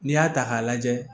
N'i y'a ta k'a lajɛ